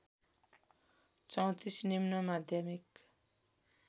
३४ निम्न माध्यमिक